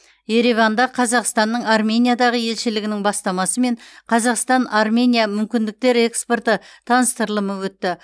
ереванда қазақстанның армениядағы елшілігінің бастамасымен қазақстан армения мүмкіндіктер экспорты таныстырылымы өтті